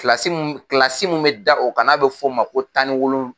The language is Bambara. mun bɛ da o kan n'a bɛ fɔ o ma ko tan ni wolon.